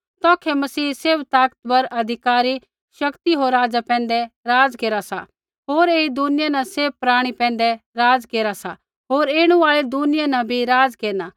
तौखै मसीह सैभ ताकतवर अधिकारी शक्ति होर राजा पैंधै राज़ केरा सासौ ऐई दुनिया न सैभ प्राणी पैंधै राज़ केरा सा होर ऐणु आल़ी दुनिया न भी राज़ केरना